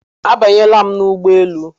Abanyela m n'ụgbọelu